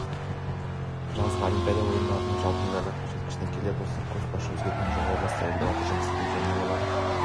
жазғы олимпиада ойындарының жалпымедальдық көрсеткішіне келер болсақ көшбасшы өзгерген жоқ облыста элеватор жұмыс жасайды және олар